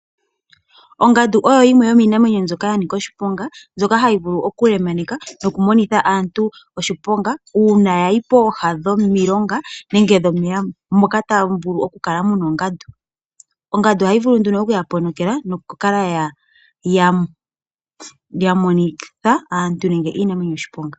Ongandu oyo yimwe yomiinamwenyo mbyoka ya nika oshiponga, mbyoka hayi vulu okulemaneka nokumonitha aantu oshiponga uuna ya yi pooha dhomilonga nenge dhomeya moka tamu vulu okukala mu na oongandu. Ongandu ohayi vulu nduno oku ya ponokela nokukala ya monitha aantu nenge iinamwenyo oshiponga.